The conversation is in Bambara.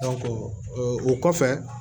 o kɔfɛ